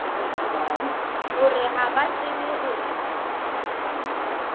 hore ha ba tsebe hore